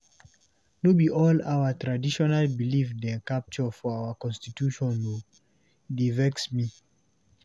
No be all our traditional belief dem capture for our constitution o, e dey vex me.